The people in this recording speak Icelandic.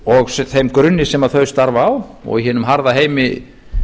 og þeim grunni sem þau starfa á og í hinum harða heimi